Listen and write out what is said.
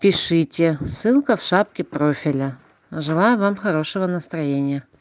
пишите ссылка в шапке профиля желаю вам хорошего настроения